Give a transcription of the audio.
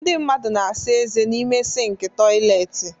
Ndị mmadụ na-asa ezé n'ime sịnkị toịletị.